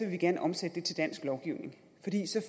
vi gerne omsætte det til dansk lovgivning